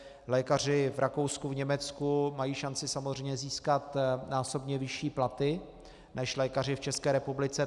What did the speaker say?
Lékaři v Rakousku, v Německu mají šanci samozřejmě získat násobně vyšší platy než lékaři v České republice.